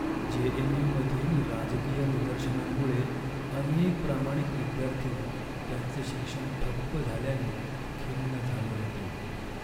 जे.एन.यू.मधील राजकीय निदर्शनांमुळे अनेक प्रामाणिक विद्यार्थी त्यांचे शिक्षण ठप्प झाल्याने खिन्न झाले होते.